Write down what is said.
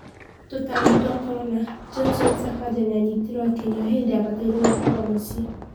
Tũtambi twa corona: Johnson Sakaja nĩanyitirwo akĩnywa hĩndĩ abatairwo gũkorwo mũcie